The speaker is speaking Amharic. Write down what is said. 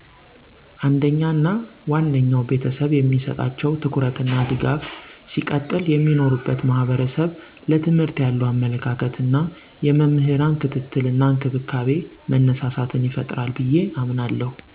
አንደኛ እና ዋነኛው ቤተሰብ የሚሰጣቸው ትኩረት እና ድጋፍ ሲቀጥል የሚኖሩበት ማህበረሰብ ለትምህርት ያለዉ አመለካከት እና የመምህራን ክትትል እና እንክብካቤ መነሳሳትን ይፈጥራል ብየ አምናለሁ።